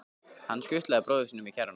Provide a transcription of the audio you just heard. Hann skutlaði bróður sínum í kerruna.